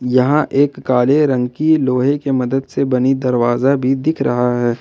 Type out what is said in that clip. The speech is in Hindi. यहां एक काले रंग की लोहे के मदद से बनी दरवाजा भी दिख रहा है।